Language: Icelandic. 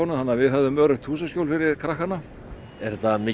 þannig að við höfðum öruggt húsaskjól fyrir krakkana er þetta mikið